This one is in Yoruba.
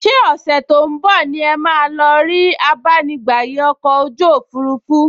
Ṣé ọ̀sẹ̀ tó ún bọ̀ ni ẹ máa lọ rí abánigbàyè ọkọ̀ ojú òfurufú??